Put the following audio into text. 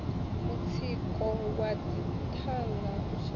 mutsiko wa dzithanga u shaya